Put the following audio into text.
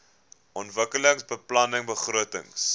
ontwikkelingsbeplanningbegrotings